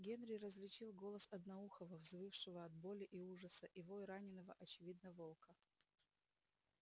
генри различил голос одноухого взвывшего от боли и ужаса и вой раненого очевидно волка